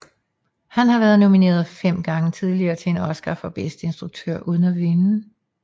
Han har været nomineret fem gange tidligere til en oscar for bedste instruktør uden at vinde